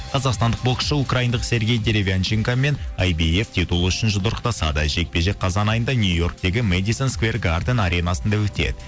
қазақстандық боксшы украиндық сергей деревянчикамен айбиф титулы үшін жұдырықтасады жекпе жек қазан айында нью йорктегі медисон сквер гарден аренасында өтеді